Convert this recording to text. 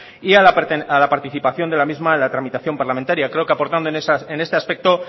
y a la participación de la misma en la tramitación parlamentaria creo que aportando en este aspecto